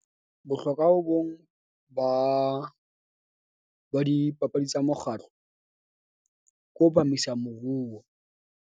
Bohlokwa bo bong ba, ba dipapadi tsa mokgatlo, ko bamisa moruo.